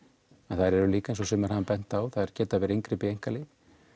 en þær eru líka eins og sumir hafa bent á þær geta verið inngrip í einkalíf